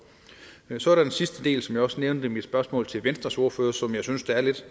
så er der den sidste del som jeg også nævnte i mit spørgsmål til venstres ordfører som jeg synes er lidt